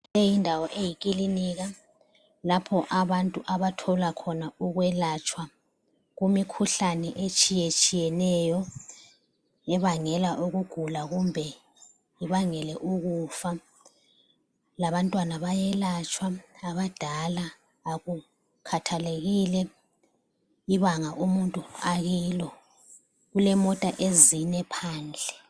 Leyi yindawo eyikilinika lapho abantu abathola khona ukwelatshwa imikhuhlane etshiyetshiyeneyo ebangela ukugula kumbe ibangele ukufa labantwana bayelatshwa abadala, akukhathalekile ibanga umuntu akilo ,kulemota ezine phandle